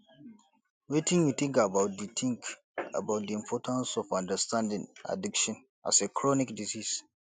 wetin you think about di think about di importance of understanding addiction as a chronic disease